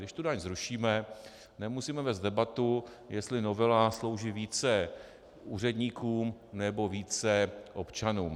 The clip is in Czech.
Když tu daň zrušíme, nemusíme vést debatu, jestli novela slouží více úředníkům, nebo více občanům.